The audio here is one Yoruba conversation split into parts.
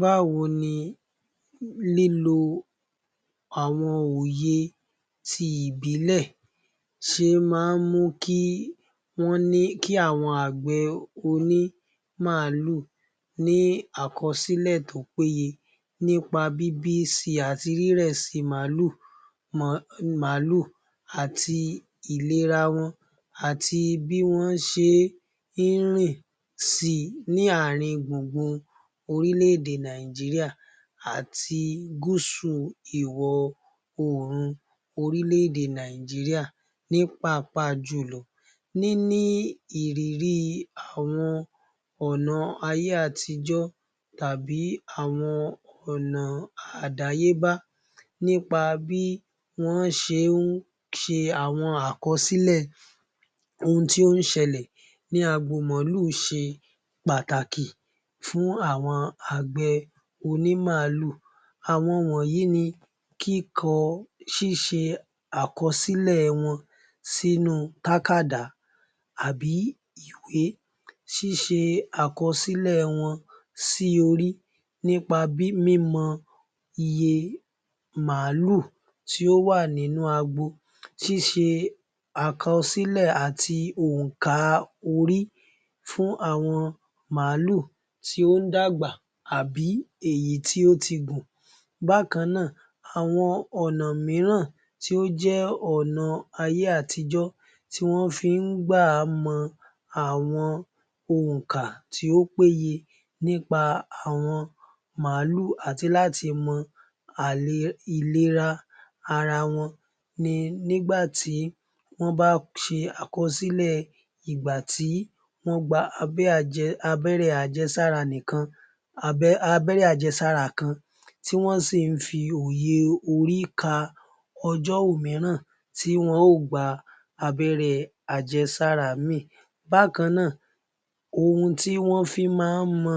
Báwo ni lílo àwọn òye ti ìbílẹ̀ ṣe máa ń mú kí àwọn àgbẹ̀ onímàálù ní àkọsílè tó péye nípa bíbí si àti rírẹ̀ si màálù àti ìlera wọn àti bí wọ́n ṣe ń rìn si ní ààrin-gbùgbùn orílẹ àti gúúsù ìwo oòrùn orílẹ-èdè Nàìjíríà. Ní pàápàá jùlọ níní ìrírí àwọn ònà ayé-àtijó tàbí àwọn ònà àdáyébá nípa bí wón ṣe ń ṣe àwọn àkọsílẹ̀ ohun tí ó ń ṣẹlẹ̀ ní agbo màálù ṣe pàtàkì fún àwọn àgbẹ̀ onímàálù. Àwọn wọ̀nyí ni kíkọ ṣíṣe àkọsílẹ̀ wọn sínú tákàbá àbí ìwé síṣe àkọsílẹ̀ wọn sí orí. Nípa mímọ iye màálù ti ó wà nínú agbo. Ṣíṣe àkọsílẹ̀ àti òǹkà orí fún àwọn màálù ti ó ń dàgbà àbí èyí tí ó ti gùn. Bákannáà, àwọn ònà mìíràn tí ó jẹ́ ọ̀nà ayé-àtijó tí wọ́n ń gbà mọ àwọn òǹkà to péye nípa àwọn màálù àti láti mọ alè ìlera ara won ni nígbàtí wón bá ṣe àkọsílẹ̀ ìgbàtí wón gba abẹrẹ́ àjẹsára nìkan abéré àjẹsára kan tí wón sì ń fi òye yé orí ka ọjọ́ òmíràn tí wọn ó gba abéré àjẹsára mìí. Bákannáà, ohun tí wón fi máa ń mọ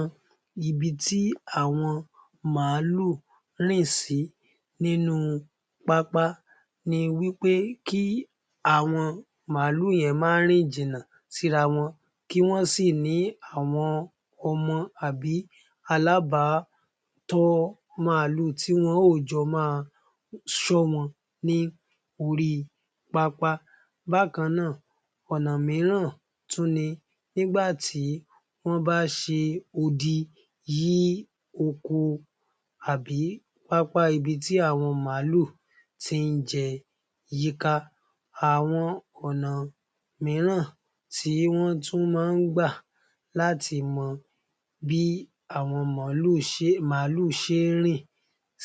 ibi tí àwọn màálù rìn sí nínu pápá ni wípé kí àwọn màálù yẹn má rìn jìnà síra wọn, kí wọ́n sì ni àwọn ọmọ àbí alágbàtọ́ màálù tí wọn ó jọ máa ṣọ́ wọn ní orí pápá. Bákannáà, ònà mìíràn tún ni nígbàtí wón bá ṣe odi yí ọkọ àbí pápá ibi tí àwọn màálù ti ń jẹ yíká. Àwọn ònà mìíràn tí wọ́n tún máa ń gbà láti mọ bí àwọn màálù ṣe ń rìn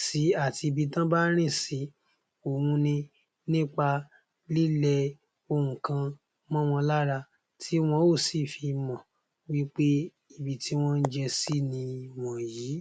sí àti ibi tí wọ́n bá ń rìn sí, ohun nípa lílẹ nǹkan mó wọn lára. Tí wọ́n ó sì fi mò wípé ibi tí wọ́n ń jẹ sí nì yìí.